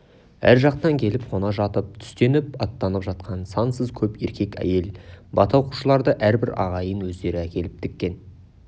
әр жақтан келіп қона жатып түстеніп аттанып жатқан сансыз көп еркек-әйел бата оқушыларды әрбір ағайын өздері әкеліп тіккен